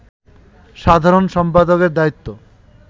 সাধারণ সম্পাদকের দায়িত্ব